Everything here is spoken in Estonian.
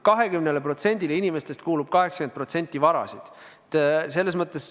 20%-le inimestest kuulub 80% varasid.